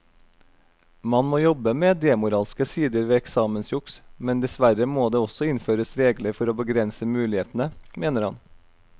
Man må jobbe med demoralske sider ved eksamensjuks, men dessverre må det også innføres regler for å begrense mulighetene, mener han.